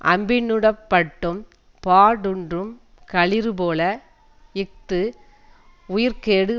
அம்பினுடப்பட்டும் பாடூன்றும் களிறுபோல இஃது உயிர்க்கேடு